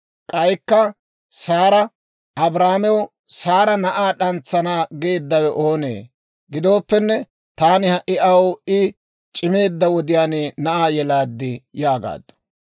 K'aykka Saara, «Abrahaamew Saara na'aa d'antsana geeddawe oonee? Gidooppenne taani ha"i aw I c'imeedda wodiyaan na'aa yelaad» yaagaaddu.